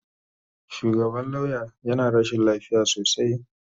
Shugaban lauya yana rashin lafiya sosai.